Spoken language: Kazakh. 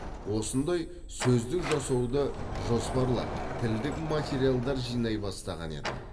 осындай сөздік жасауды жоспарлап тілдік материалдар жинай бастаған едім